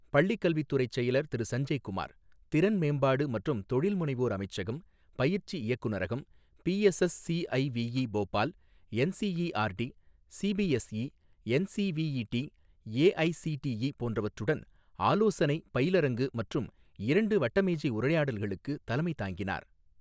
பள்ளிக் கல்வி துறை செயலர் திரு சஞ்சய் குமார், திறன் மேம்பாடு மற்றும் தொழில்முனைவோர் அமைச்சகம், பயிற்சி இயக்குநரகம், PSSCIVE Bhopal, NCERT, CBSE, NCVET, AICTE போன்றவற்றுடன் ஆலோசனை பயிலரங்கு மற்றும் இரண்டு வட்டமேஜை உரையாடல்களுக்குத் தலைமை தாங்கினார்.